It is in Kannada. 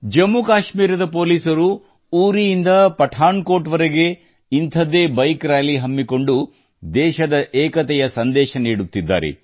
ಜಮ್ಮು ಕಾಶ್ಮೀರದ ಪೋಲಿಸರು ಕೂಡ ಉರಿಯಿಂದ ಪಠಾನ್ ಕೋಟ್ ವರೆಗೆ ಇಂಥದ್ದೇ ಬೈಕ್ ರಾಲಿ ಹಮ್ಮಿಕೊಂಡು ದೇಶದ ಏಕತೆಯ ಸಂದೇಶ ನೀಡುತ್ತಿದ್ದಾರೆ